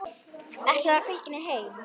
Ætlarðu að fylgja henni heim?